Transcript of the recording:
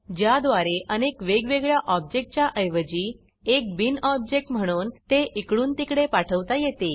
ज्याद्वारे अनेक वेगवेगळ्या ऑब्जेक्टच्या ऐवजी एक बीन ऑब्जेक्ट म्हणून ते इकडून तिकडे पाठवता येते